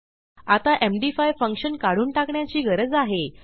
आता MD5 function काढून टाकण्याची गरज आहे